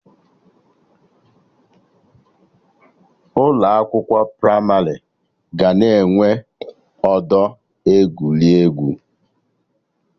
Ụlọ akwụkwọ pramarị ga na-enwe ọdọ egwuregwu